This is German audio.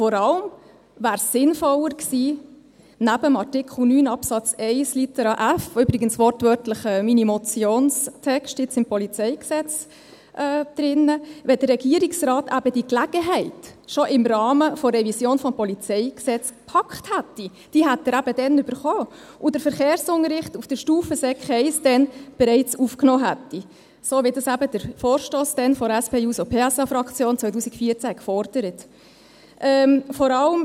Vor allem wäre es, neben Artikel 9 Absatz 1 Litera f des Polizeigesetzes (PolG), mit dem übrigens jetzt wortwörtlich mein Motionstext im PolGz drin ist, sinnvoller gewesen, wenn der Regierungsrat diese Gelegenheit eben schon im Rahmen der Revision des Polizeigesetzes gepackt hätte – die hätte er damals gehabt – und den Verkehrsunterricht auf Sekundarstufe I bereits damals aufgenommen hätte, so wie es der Vorstoss der SP-JUSO-PSA-Fraktion 2014 gefordert hat.